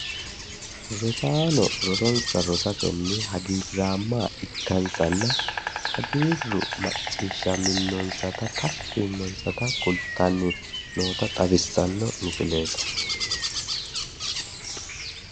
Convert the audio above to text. rosaano rosonsa rosatenne hagiirraamma ikkansanna hagiirru macciishshaminonsatanna tashshi yiinonsata kultanni no misileeti.